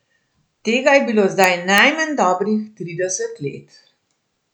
Tega je bilo zdaj najmanj dobrih trideset let.